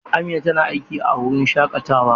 Amina tana aiki a wurin shaƙatawa.